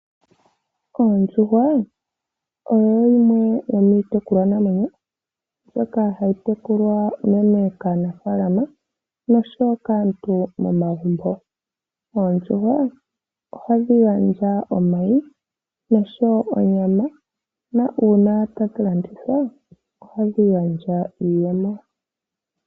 Oondjuhwa oyo yimwe yomiitekulwanamwenyo mbyoka hayi tekulwa unene kaanafaalama nosho wo kaantu momagumbo. Oondjuhwa ohadhi gandja omayi nosho wo onyama. Uuna tadhi landithwa ohadhi gandja iiyemo.